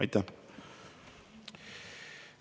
Aitäh!